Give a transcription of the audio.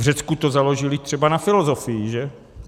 V Řecku to založili třeba na filozofii, že?